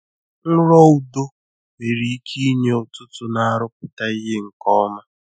Nrọ udo nwere ike inye ụtụtụ na-arụpụta ihe nke ọma.